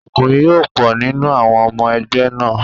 Ọkùnrin yó pọ̀ nínú àwọn ọmọ ẹgbẹ́ náà.